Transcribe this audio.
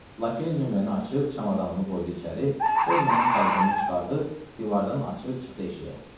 Lakey nömrəni açıb çamadanımı qoydu içəri, sonra mənim paltomu çıxarıb divardan açıb çıxdı eşiyə.